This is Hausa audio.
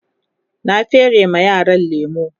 na fere ma yaran lemu